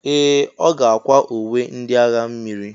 Ee! Ọ ga-akwa uwe ndị agha mmiri.